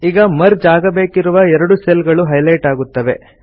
ಈಗ ಮರ್ಜ್ ಆಗಬೇಕಿರುವ ಎರಡು ಸೆಲ್ ಗಳು ಹೈಲೈಟ್ ಆಗುತ್ತವೆ